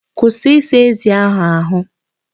Kwụsị ịsa ezi ahụ.